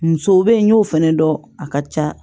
Musow bɛ yen n y'o fɛnɛ dɔn a ka ca